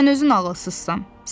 Sən özün ağılsızsan.